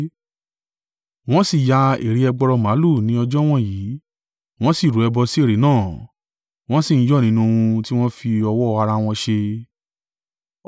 Wọ́n sì yá ère ẹgbọrọ màlúù ni ọjọ́ wọ̀nyí. Wọ́n sì rú ẹbọ sí ère náà, wọ́n sì ń yọ̀ nínú ohun tí wọ́n fi ọwọ́ ara wọn ṣe.